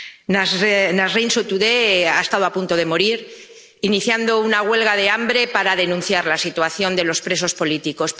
Nasrín Sotudé ha estado a punto de morir al iniciar una huelga de hambre para denunciar la situación de los presos políticos.